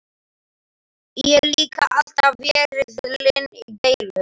Ég líka alltaf verið lin í deilum.